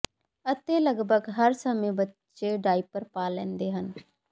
ਅਤੇ ਲਗਭਗ ਹਰ ਸਮੇਂ ਬੱਚੇ ਡਾਇਪਰ ਪਾ ਲੈਂਦੇ ਹਨ